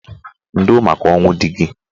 Ndo maka ọnwụ dị gị.